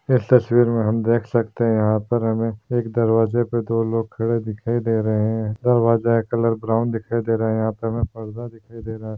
इस तस्वीर में हम देख सकते हैं यहाँ पर हमें एक दरवाज़े पर दो लोग खड़े दिखाई दे रहें हैं दरवाज़े का कलर ब्राउन दिखाई दे रहा है यहाँ पर हमें पर्दा दिखाई दे रहा है।